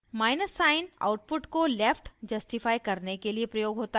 minus sign output को left justify करने के लिए प्रयोग होता है